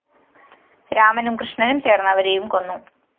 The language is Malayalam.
രാമനും കൃഷ്ണനും ചേര്‍ന്ന്‌ അവരെയും കൊന്നു